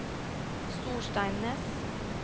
Storsteinnes